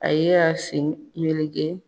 A ye a sen melege.